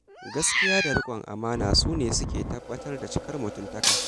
Gaskiya da riƙon amana su ne suke tabbatar cikar mutuntaka.